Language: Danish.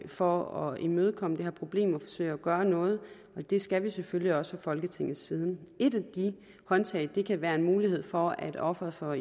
for at imødekomme det her problem og forsøge at gøre noget det skal vi selvfølgelig også folketingets side et af de håndtag kan være en mulighed for at offeret for